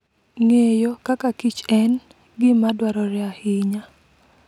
Ng'eyo kaka kich en gima dwarore ahinya.